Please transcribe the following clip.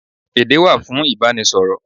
Èdé wà fún Ìbánisọ̀rọ̀.